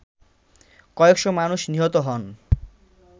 কয়েক'শ মানুষ নিহত হন